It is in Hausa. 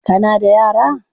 Kana da yara?